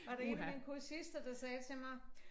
Var der 1 af mine kursister der sagde til mig